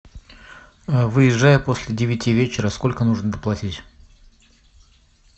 выезжая после девяти вечера сколько нужно доплатить